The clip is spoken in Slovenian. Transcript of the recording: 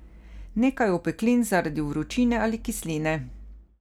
Nekaj opeklin zaradi vročine ali kisline.